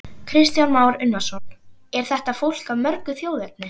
Kristján Már Unnarsson: Er þetta fólk af mörgu þjóðerni?